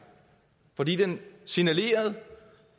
fordi han signalerede at